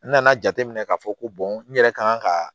N nana jateminɛ k'a fɔ ko n yɛrɛ kan ka